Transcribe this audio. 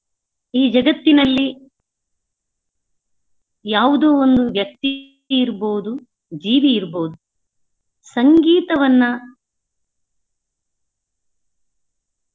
ಈ ಜಗತ್ತಿನಲ್ಲಿ ಯಾವುದೋ ಒಂದು ವ್ಯಕ್ತಿ ಇರ್ಬೋದು ಜೀವಿ ಇರ್ಬೋದು ಸಂಗೀತವನ್ನಾ.